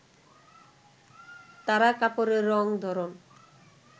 তারা কাপড়ের রং, ধরন